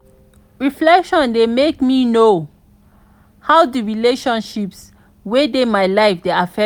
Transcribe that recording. reflection dey make me know how di relationships wey dey my life dey affect me.